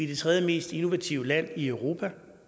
det tredje mest innovative land i europa